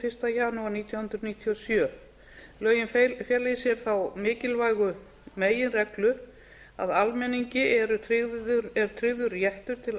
fyrsta janúar nítján hundruð níutíu og sjö lögin fela í sér þá mikilvægu meginreglu að almenningi er tryggður réttur til